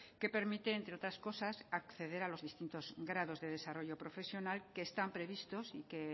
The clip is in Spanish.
que permite entre otras cosas acceder a los distintos grados de desarrollo profesional que están previstos